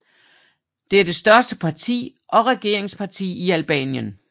Det er det største parti og regeringsparti i Albanien